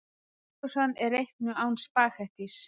Kjötsósan er reiknuð án spaghettís.